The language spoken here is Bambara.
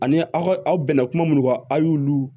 Ani aw aw bɛn na kuma minnu kan aw y'olu